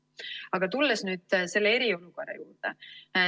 Aga tulles nüüd selle eriolukorra juurde.